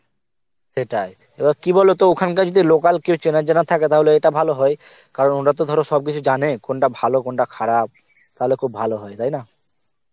সেটাই এবার কি বলতো, ওখানকার যদি local কেউ চেনা জানা থাকে তাহলে এটা খুব ভালো হয় কারণ ওরা তো ধর সবকিছু জানে কোনটা ভালো কোনটা খারাপ খুব ভালো হয় তাই না